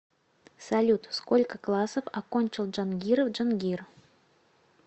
салют сколько классов окончил джангиров джангир